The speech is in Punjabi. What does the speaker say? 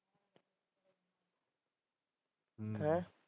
ਹੈਂ